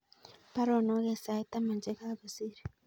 Baruoonok en sait taman chegagosir